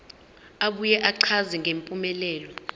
abuye achaze ngempumelelo